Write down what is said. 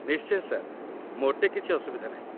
ନିଶ୍ଚୟ ସାର୍, ମୋଟେ କିଛି ଅସୁବିଧା ନାହିଁ ।